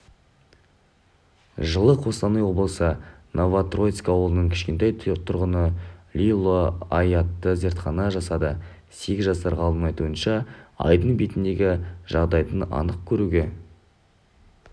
жылы қостанай облысы новотроицк ауылының кішкентай тұрғыныолег лило ай атты зертхана жасады сегіз жасар ғалымның айтуынша айдың бетіндегі жағдайды анық көруге